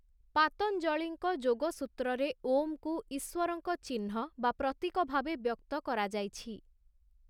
ପାତଞ୍ଜଳିଙ୍କ ଯୋଗସୂତ୍ରରେ ଓମ୍ କୁ ଈଶ୍ଵରଙ୍କ ଚିହ୍ନ ବା ପ୍ରତୀକ ଭାବେ ବ୍ୟକ୍ତ କରାଯାଇଛି ।